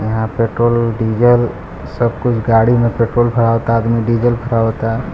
यहां पे petrol diesel सब कुछ गाड़ी में पेट्रोल भरावाता आदमी डीजल भरावाता यहां--